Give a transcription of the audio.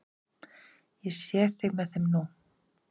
Ég sé þig með þeim nú.